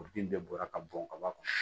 Kuru in bɛɛ bɔra ka bɔn ka bɔ a kɔnɔ